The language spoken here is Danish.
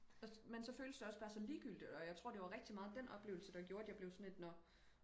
også men så føles det også bare så ligegyldigt og jeg tror det var rigtig meget den oplevelse der gjorde at jeg blev sådan lidt nå